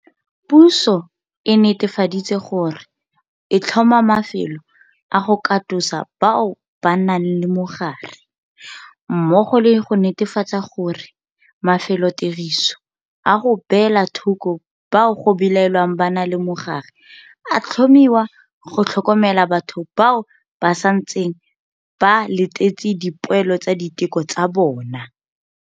Puso e netefaditse gore e tlhoma mafelo a go katosa bao ba nang le mogare, mmogo le go netefatsa gore mafelotiriso a go beela thoko bao go belaelwang ba na le mogare a tlhomiwa go tlhokomela batho bao ba santseng ba letetse dipoelo tsa diteko tsa bona.